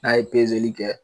N'a ye kɛ